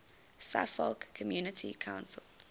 suffolk community council